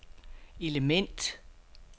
element